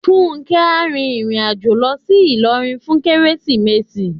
Fúnkẹ́ á rin ìrìn àjò lọ sí Ilorin fún Kérésìmesì.